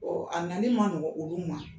a nali ma nɔgɔ olu ma.